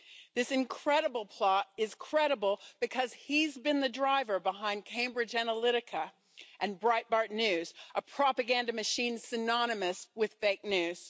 This incredible plot is credible, because he's been the driver behind Cambridge Analytica and Breitbart News, a propaganda machine synonymous with fake news.